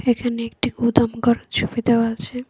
পিছনে একটি গুদামঘর এর ছবি দেওয়া আছে।